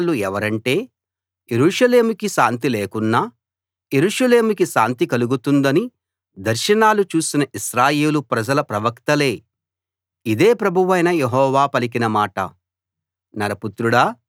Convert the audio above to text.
సున్నం వేసిన వాళ్ళు ఎవరంటే యెరూషలేముకి శాంతి లేకున్నా యెరూషలేముకి శాంతి కలుగుతుందని దర్శనాలు చూసిన ఇశ్రాయేలు ప్రజల ప్రవక్తలే ఇదే ప్రభువైన యెహోవా పలికిన మాట